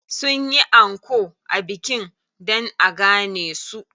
Sun yi anko a bikin dan a gane su.